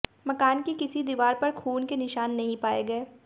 मकान की किसी दीवार पर खून के निशान नहीं पाए गए